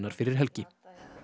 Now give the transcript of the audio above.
fyrir helgi